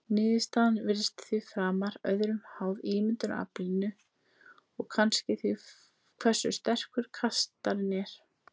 Niðurstaðan virðist því framar öðru háð ímyndunaraflinu og kannski því hversu sterkur kastarinn er.